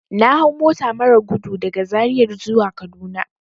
Na hau mota marar gudu daga zaria zuwa kaduna.